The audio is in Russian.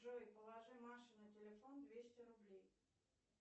джой положи маше на телефон двести рублей